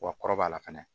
Wa kɔrɔbaya la fɛnɛ